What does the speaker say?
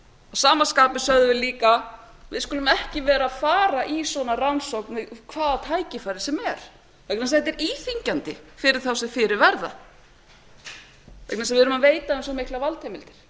sama skapi sögðum við líka við skulum ekki vera að fara í svona rannsóknir við hvaða tækifæri sem er vegna þess að þetta er íþyngjandi fyrir þá sem fyrir verða vegna þess að við erum að veita þeim svo miklar valdheimildir